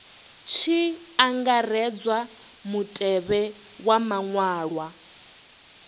tshi angaredzwa mutevhe wa maṅwalwa